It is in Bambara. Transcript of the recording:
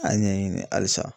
A y'a ɲɛɲini halisa.